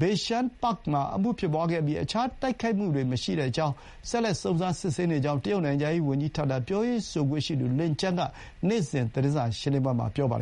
Beishan Park မှာ အမှုဖြစ်ပွါးခဲ့ပြီး အခြားတိုက်ခိုက်မှုတွေ မရှိကြောင်း၊ ဆက်လက် စုံစမ်းစစ်ဆေးနေကြောင်း တရုတ်နိုင်ငံခြားရေးဝန်ကြီးဌာန ပြောရေးဆိုခွင့်ရှိသူ လင်ကျန်း (Lin Jian) က နေ့စဥ် သတင်းစာ ရှင်းလင်းပွဲမှာ ပြောပါတယ်